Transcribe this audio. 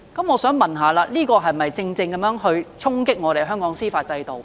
我想問，這豈不是正正衝擊香港的司法制度？